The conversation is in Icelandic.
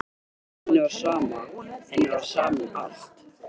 Henni var sama, henni var sama um allt.